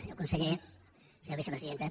senyor conseller senyora vicepresidenta